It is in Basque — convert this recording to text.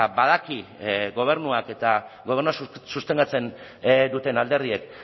badakit gobernuak eta gobernua sostengatzen duten alderdiek